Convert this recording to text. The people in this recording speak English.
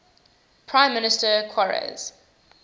prime minister qarase